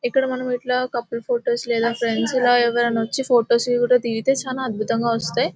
ఇక్కడ ఇట్లా మనము కపుల్ ఫొటోస్ లేదా ఫ్రెండ్స్ ఎవరైనా వచ్చి ఫొటోస్ కూడా దిగితే చాలా అద్భుతంగా వస్తాయి